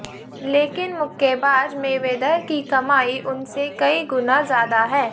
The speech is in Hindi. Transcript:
लेकिन मुक्केबाज़ मेवेदर की कमाई उनसे कई गुना ज़्यादा है